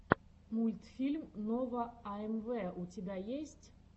мультфильм нова амв у тебя есть